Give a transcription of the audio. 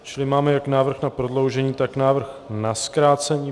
Čili máme jak návrh na prodloužení, tak návrh na zkrácení.